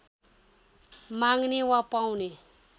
माग्ने वा पाउने